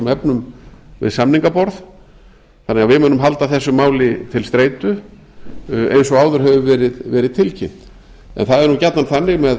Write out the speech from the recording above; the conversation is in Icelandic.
efnum við samningaborð þannig að við munum halda þessu máli til streitu eins og áður hefur verið tilkynnt en það er nú gjarnan þannig með